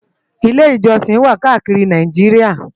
Ilè-ijòsin wá kàákiri Náijiriá